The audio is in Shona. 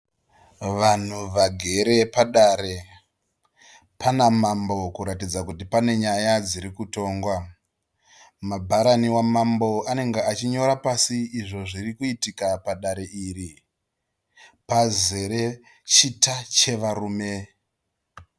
Vanhu vagere padare pana mambo kuratidza kuti pane nyaya dziri kutongwa. Mabharani wamambo anenge achinyora pasi izvo zvirikuitika padare iri. Pazere chita chevarume.